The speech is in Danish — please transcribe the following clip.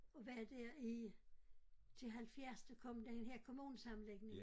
Og var der i til 70 der kom den her kommunesamling